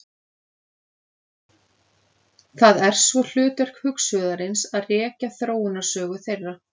Það er svo hlutverk hugsuðarins að rekja þróunarsögu þeirra.